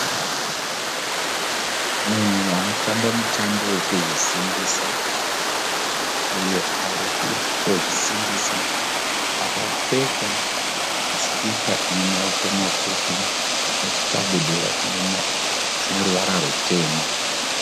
Munhu anotamba mutambo wokuzvisimbisa. Uyo ari kutozvisimbisa, akapfeka sikipa ine maoko mapfupi nechikabudura chine ruvara rutema.